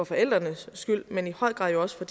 forældrenes skyld men i høj grad jo også for